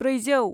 ब्रैजौ